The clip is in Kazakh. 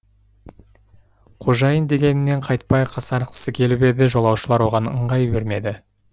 қожайын дегенінен қайтпай қасарысқысы келіп еді жолаушылар оған ыңғай бермеді